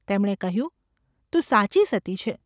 તેમણે કહ્યું : ‘તું સાચી સતી છે.